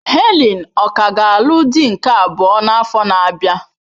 Helen ọ̀ ka ga-alụ di nke abụọ n'afọ na-abịa?